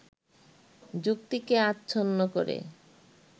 যুক্তিকে আচ্ছন্ন করে